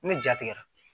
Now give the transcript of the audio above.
Ni ja tigɛra